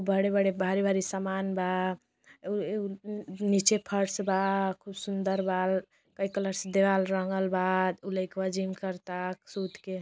बड़े-बड़े भारी भारी सामन बा। अ उअ नी नीचे फर्श बा खूब सुन्दर बा कई कलर से दीवाल रंगल बा। उ लइकवा जिम करता सूतके।